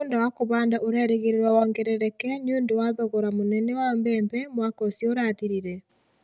Mũgũnda wa kũhanda ũrerĩgĩrĩrũo wongerereke nĩ ũndũ wa thogora mũnene wa mbembe mwaka ũcio ũrathirire.